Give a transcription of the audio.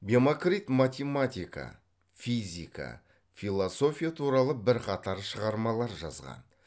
бемокрит математика физика философия туралы бірқатар шығармалар жазған